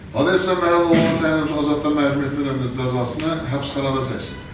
Hadiyev İslam Məhəmməd oğluna təyin edilmiş azadlıqdan məhrum etmə cəzasını həbsxanada çəksin.